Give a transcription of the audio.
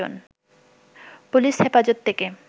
police হেফাজত থেকে